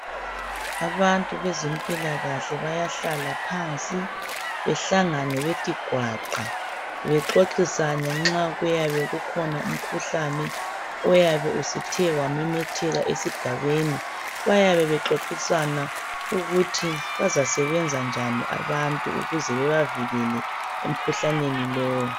abantu bezempilakahle bayahlala phansi behlangane bethi gwaqa bexoxisane nxa kuyabe kukhona umkhuhlane oyabe usuthe wamemetheka esigabeni bayabe bexoxisana ukuthi bazasebenza njani abantu ukuze bebavikele emkhuhlaneni lowu